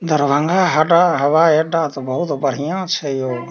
दरभंगा हडा हवाई अड्डा ते बहुत बढ़िया छै यो।